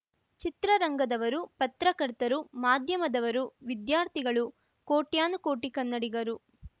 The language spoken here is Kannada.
ಚಿತ್ರರಂಗದವರು ಪತ್ರಕರ್ತರು ಮಾಧ್ಯಮದವರು ವಿದ್ಯಾರ್ಥಿಗಳು ಕೋಟ್ಯಾನುಕೋಟಿ ಕನ್ನಡಿಗರು